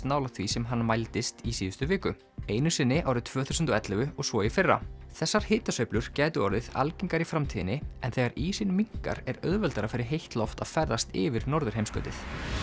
nálægt því sem hann mældist í síðustu viku einu sinni árið tvö þúsund og ellefu og svo í fyrra þessar hitasveiflur gætu orðið algengari í framtíðinni en þegar ísinn minnkar er auðveldara fyrir heitt loft að ferðast yfir norðurheimskautið